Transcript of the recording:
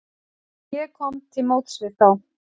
Ég kom til móts við þá.